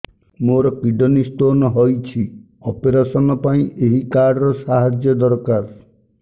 ମୋର kidney stone ହଇଛି operation ପାଇଁ ଏହି କାର୍ଡ ର ସାହାଯ୍ୟ ଦରକାର